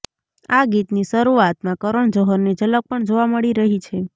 આ ગીતની શરૂઆતમાં કરણ જોહરની ઝલક પણ જોવા મળી રહી છે